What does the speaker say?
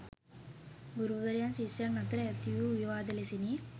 ගුරුවරයන් ශිෂ්‍යයන් අතර ඇති වූ විවාද ලෙසිනි.